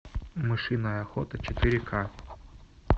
мышиная охота четыре ка